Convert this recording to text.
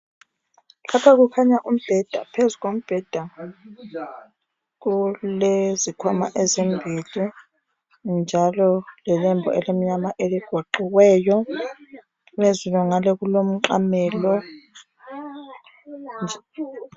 Lapha kukhanya umbheda phezu kombheda kulezikhwama ezimbili njalo lelembu elimnyama eligoqiweyo phezulu ngale kulomqamelo .